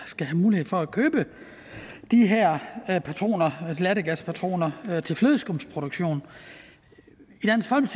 skal have mulighed for at købe de her lattergaspatroner til flødeskumsproduktion